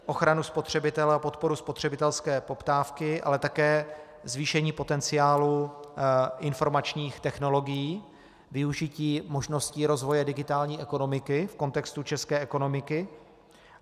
Ochranu spotřebitele a podporu spotřebitelské poptávky, ale také zvýšení potenciálu informačních technologií, využití možností rozvoje digitální ekonomiky v kontextu české ekonomiky.